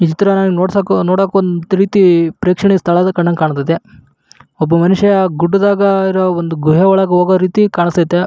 ಇತರ ನೋಡಸಾಕು ನೋಡೇಕು ರೀತಿ ಒಂದ್ ತರ ಪ್ರೇಕ್ಷಣೀಯ ಸ್ಥಳ ಕಂಡಂಗ್ ಕಾಣಿಸ್ತಿತ್ತೆ ಒಬ್ಬ ಮನಷಾ ಗುಡ್ಡದಾಗ ಇರೋ ಒಂದ ಗೃಹ ಒಳಗ ಹೂಗುಹಾಂಗ ಕಾಣಸ್ತಾಯಿತಾ.